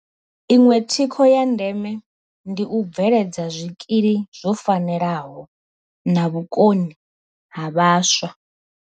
Iṅwe thikho ya ndeme ndi u bveledza zwikili zwo fanelaho na vhukoni ha vhaswa.